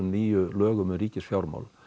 nýju lögum um ríkisfjármál